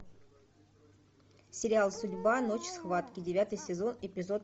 сериал судьба ночь схватки девятый сезон эпизод